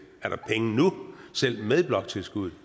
er der penge nu selv med bloktilskuddet